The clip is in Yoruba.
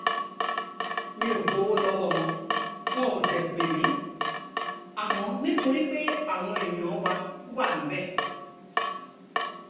mi ò gbowó lọ́wọ́ wọn wọn ò dé pé mi àmọ́ nítorí pé àwọn èèyàn wa wà níbẹ̀